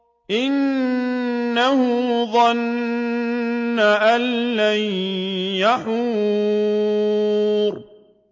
إِنَّهُ ظَنَّ أَن لَّن يَحُورَ